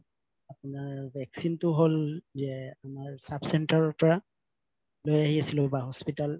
আপোনাৰ vaccine তো হল যে তোমাৰ sub center ৰ পৰা লৈ আহি আছিলো বা hospital